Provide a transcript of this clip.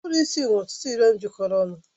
Uburu isi nwere ọtụtụ nuyurọn jikọrọ ọnụ.